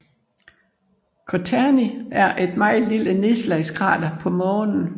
Courtney er et meget lille nedslagskrater på Månen